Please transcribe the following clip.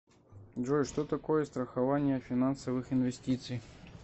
джой что такое страхование финансовых инвестиций